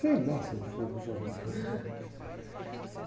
Sei lá se não foi para o.